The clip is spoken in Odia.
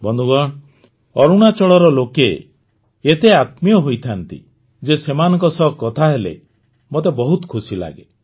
ବନ୍ଧୁଗଣ ଅରୁଣାଚଳର ଲୋକେ ଏତେ ଆତ୍ମୀୟ ହୋଇଥାନ୍ତି ଯେ ସେମାନଙ୍କ ସହ କଥା ହେଲେ ମୋତେ ବହୁତ ଖୁସି ଲାଗେ